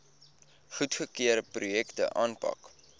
goedgekeurde projekte aanpak